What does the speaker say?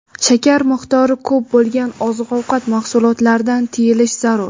shakar miqdori ko‘p bo‘lgan oziq-ovqat mahsulotlardan tiyilish zarur.